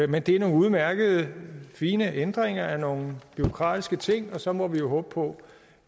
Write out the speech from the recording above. men det er nogle udmærkede fine ændringer af nogle bureaukratiske ting og så må vi jo håbe på